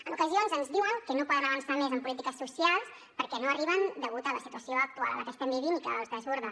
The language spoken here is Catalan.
en ocasions ens diuen que no poden avançar més en polítiques socials perquè no arriben degut a la situació actual que estem vivint i que els desborda